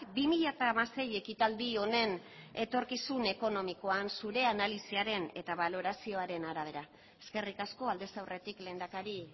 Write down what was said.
bi mila hamasei ekitaldi honen etorkizun ekonomikoan zure analisiaren eta balorazioaren arabera eskerrik asko aldez aurretik lehendakari